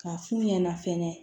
K'a f'u ɲɛna fɛnɛ